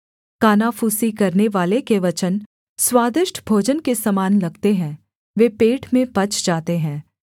कानाफूसी करनेवाले के वचन स्वादिष्ट भोजन के समान लगते हैं वे पेट में पच जाते हैं